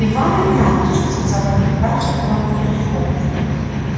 иван игнатьич сказала капитанша кривому старичку